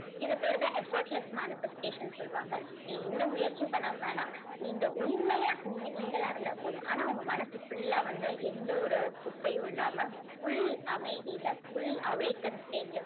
இது பேர் தான் effortless manifestation னு சொல்லுவாங்க. நீங்க எந்த முயற்சியும் பண்ண வேணாம். நீங்க உண்மையா நீங்க நீங்களா இருந்தா போதும். ஆனா உங்க மனசு full ஆ வந்து எந்த ஒரு குப்பையும் இல்லாம full அமைதியில full awaken state ல